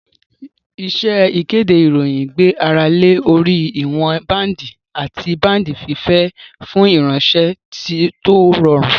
Iṣẹ́ ìkéde ìròyìn gbé ara lé orí ìwọn báǹdì àti báǹdì fífẹ̀ fún ìránṣẹ́ tó rọrùn